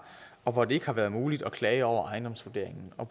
og hvor det ikke har været muligt at klage over ejendomsvurderingen og